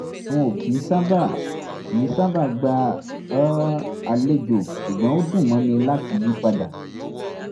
n ò kì í sábà kì í sábà gba um àlejò ṣùgbọ́n ó dùn mọ́ mi láti yí padà